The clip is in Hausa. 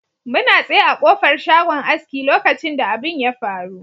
Muna tsaye a ƙofar shagon aski lokacin da abin ya faru.